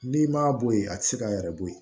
N'i m'a bɔ yen a tɛ se k'a yɛrɛ bɔ yen